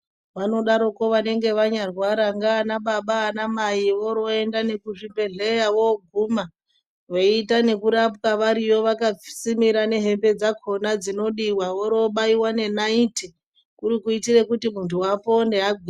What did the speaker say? Vanodaroko vanenge vanyarwara ndianababa anamai voroenda nekuzvibhedhleya voguma. Veiita nekurapwa variyo vakasimira nehembe dzakona dzinodiwa vorowobaiva nenaiti. Kuri kiitire kuti muntu apone agwinye.